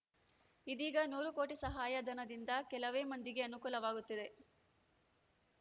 ಇದೀಗ ನೂರು ಕೋಟಿ ಸಹಾಯಧನದಿಂದ ಕೆಲವೇ ಮಂದಿಗೆ ಅನುಕೂಲವಾಗುತ್ತದೆ